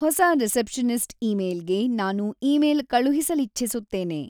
ಹೊಸ ರಿಸೆಪ್ಶನಿಸ್ಟ್‌ ಇಮೇಲ್‌ಗೆ ನಾನು ಇಮೇಲ್ ಕಳುಹಿಸಲಿಚ್ಛಿಸುತ್ತೇನೆ